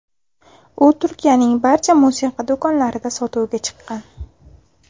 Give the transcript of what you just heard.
U Turkiyaning barcha musiqa do‘konlarida sotuvga chiqqan.